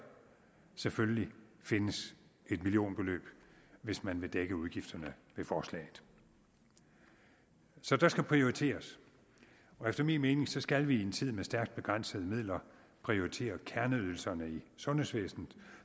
selvfølgelig findes et millionbeløb hvis man vil dække udgifterne ved forslaget så der skal prioriteres og efter min mening skal vi i en tid med stærkt begrænsede midler prioritere kerneydelserne i sundhedsvæsenet